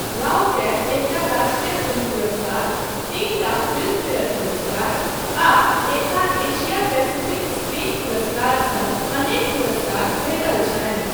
रावकेँ एकटा राष्ट्रीय फिल्म पुरस्कार, तीनटा फिल्मफेयर पुरस्कार आ एकटा एशिया पैसिफिक स्क्रीन पुरस्कार सङ्ग अनेक पुरस्कार भेटल छनि।